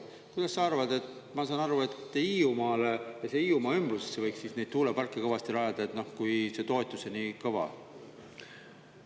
Kuidas sa arvad, et … ma saan aru, et Hiiumaale ja Hiiumaa ümbrusesse võiks siis neid tuuleparke kõvasti rajada, kui see toetus on nii kõva?